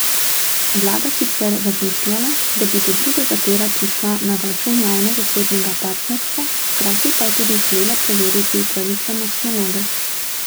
Vlada sicer razmišljala, da bi do drugega tira prišla na račun javno zasebnega partnerstva, hkrati pa je tudi želela preveriti upravičenost naloge.